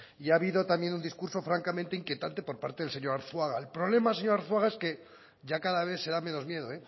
y ha habido también un discurso francamente inquietante por parte del señor arzuaga el problema señor arzuaga es que ya cada vez se da menos miedo